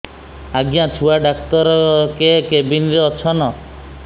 ଆଜ୍ଞା ଛୁଆ ଡାକ୍ତର କେ କେବିନ୍ ରେ ଅଛନ୍